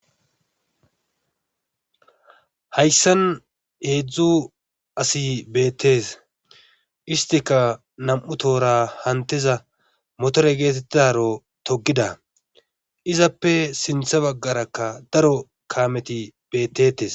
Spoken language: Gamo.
Hayssan heedzdzu asi beetes. Istikka nam'u tohora hamutiza motore geetetidaro togida izappe sinththa bagarakka daro kaameti beetetees.